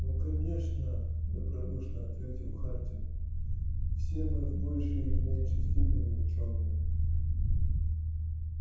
ну конечно добродушно ответил хардин все мы в большей или меньшей степени учёные